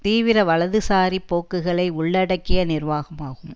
தீவிர வலதுசாரி போக்குகளை உள்ளடக்கிய நிர்வாகமாகும்